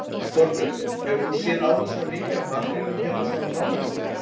Þorbjörn: Hefur þú séð áður svona mikið af makrílnum hérna svona nálægt okkur?